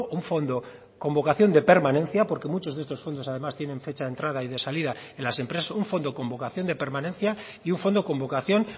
un fondo con vocación de permanencia porque muchos de estos fondos además tienen fecha de entrada y de salida en las empresas un fondo con vocación de permanencia y un fondo con vocación